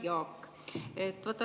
Hea Jaak!